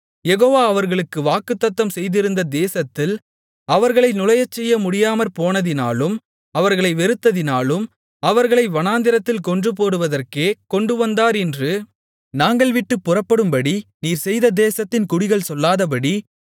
யெகோவா அவர்களுக்கு வாக்குத்தத்தம் செய்திருந்த தேசத்தில் அவர்களை நுழையச்செய்ய முடியாமற்போனதினாலும் அவர்களை வெறுத்ததினாலும் அவர்களை வனாந்திரத்தில் கொன்றுபோடுவதற்கே கொண்டுவந்தார் என்று நாங்கள் விட்டுப் புறப்படும்படி நீர் செய்த தேசத்தின் குடிகள் சொல்லாதபடி